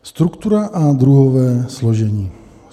Struktura a druhové složení.